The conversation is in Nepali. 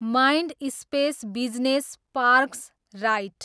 mind space business parks right